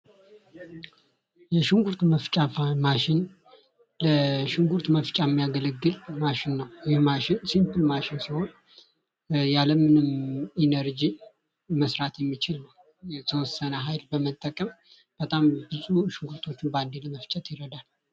የሽንኩርት መፍጫ ማሽን ለሽንኩርት መፍቻ የሚያገለግል ማሽን ነው። ይህን ሲምፕል ማሽን ሲሆን ያለምንም ኢነርጂ መስራት የሚችል የተወሰነ ኃይል በመጠቀም በጣም ብዙ ሽንኩርቶችን ባንዴ ለመፍጨት ይረዳል።